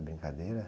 Brincadeira?